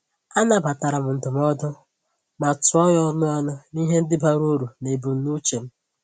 A nabatara m ndụmọdụ, ma tụọ ya ọnụ ọnụ na ihe ndi bara uru na ebumnuche m.